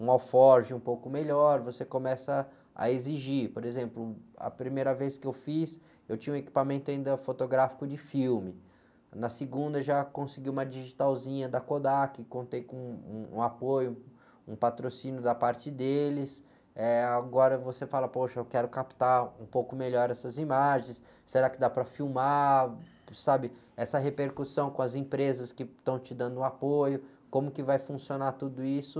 um alforje um pouco melhor você começa a exigir, por exemplo, a primeira vez que eu fiz eu tinha um equipamento ainda fotográfico de filme na segunda já consegui uma digitalzinha da Kodak contei com um, um apoio, um patrocínio da parte deles agora você fala poxa eu quero captar um pouco melhor essas imagens será que dá para filmar, sabe? Essa repercussão com as empresas que estão te dando o apoio como que vai funcionar tudo isso